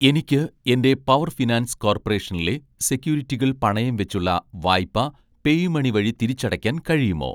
എനിക്ക് എൻ്റെ power finance കോർപ്പറേഷനിലെ സെക്യൂരിറ്റികൾ പണയം വെച്ചുള്ള വായ്പ പേയുമണി വഴി തിരിച്ചടയ്ക്കാൻ കഴിയുമോ?